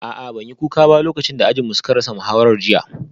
A'a ban yi kuka ba lokacin da muka ji ajin mun sha kashi jiya